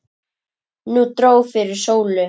Nú dró fyrir sólu.